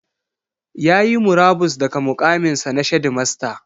Ya yi murabus daga muƙaminsa na shedimasta.